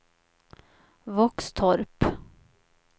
Våxtorp